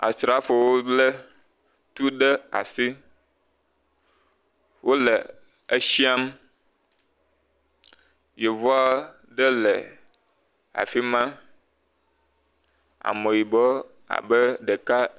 Asrafowo lé tu ɖe asi wole eshiam. Yevu aɖe le afi ma. Ameyibɔ abe ɖeka.